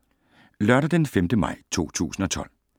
Lørdag d. 5. maj 2012